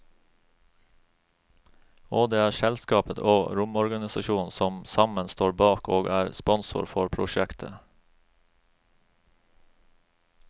Og det er selskapet og romorganisasjonen som sammen står bak og er sponsor for prosjektet.